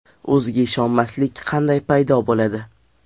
O‘ziga ishonmaslik qanday paydo bo‘ladi?